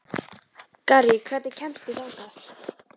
Garri, hvernig kemst ég þangað?